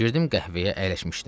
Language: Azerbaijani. Girdim qəhvəyə əyləşmişdim.